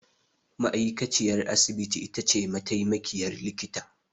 Ma'aikaciyar asibiti itace mataimakiyar likita.